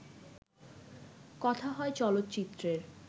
কথা হয় চলচ্চিত্রের